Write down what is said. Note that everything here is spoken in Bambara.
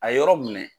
A ye yɔrɔ minɛ